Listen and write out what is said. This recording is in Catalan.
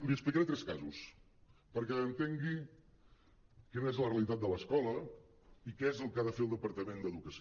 li explicaré tres casos perquè entengui quina és la realitat de l’escola i què és el que ha de fer el departament d’educació